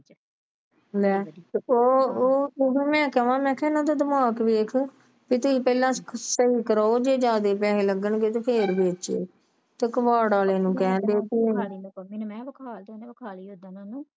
ਲੈ ਤੇ ਉਹ ਉਹ ਤਦੋਂ ਮੈਂ ਕਿਹਾ ਇਹਨਾਂ ਦਾ ਦਿਮਾਗ ਖ਼ਰਾਬ ਵੇਖ ਕੇ ਚੀਜ ਪਹਿਲਾ ਸਹੀ ਕਰਵਾਓ ਤੇ ਜੇ ਜਿਹਦੇ ਪੈਸੇ ਲੱਗਣ ਗਏ ਤੇ ਫਿਰ ਵੇਚਿਓ ਤੇ ਕਵਾੜ ਵਾਲਿਆਂ ਨੂੰ ਪੈਸੇ